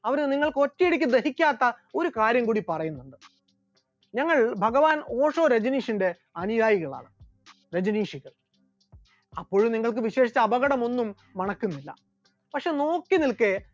അവർ നിങ്ങൾക്ക് ഒറ്റയടിക്ക് ദഹിക്കാത്ത ഒരു കാര്യം കൂടി പറയും, ഞങ്ങൾ ഭഗവാൻ ഓഷോ രജനീഷിന്റെ അനുയായികളാണ്, രജനീശോ, അപ്പോൾ നിങ്ങൾക്ക് വിശേഷിച്ച് അപകടമൊന്നും മണക്കുന്നില്ല, പക്ഷെ നോക്കിനിൽക്കെ